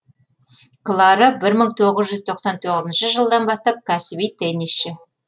клара бір мың тоғыз жүз тоқсан тоғызыншы жылдан бастап кәсіби теннисшы